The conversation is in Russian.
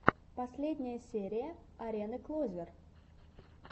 последняя серия арены клозер